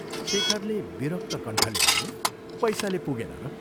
शेखरले विरक्त कण्ठले भन्यो, " पैसाले पुगेन र "